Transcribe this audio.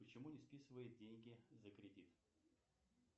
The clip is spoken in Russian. почему не списывает деньги за кредит